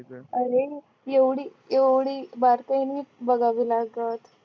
अरे एवढी एवढी बारकायी बघावी लागत